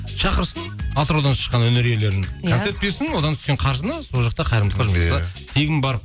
шақырсын атыраудан шыққан өнер иелерін концерт берсін одан түскен қаржыны сол жақта қайырымдылыққа тегін барып